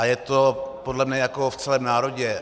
A je to podle mě jako v celém národě.